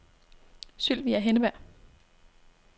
Sylvia Henneberg